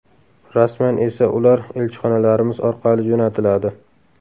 Rasman esa ular elchixonalarimiz orqali jo‘natiladi”.